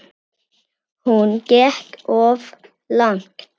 Hún gekk of langt.